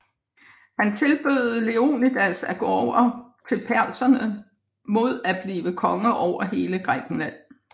Han tilbød Leonidas at gå over til persernes mod at blive konge over hele Grækenland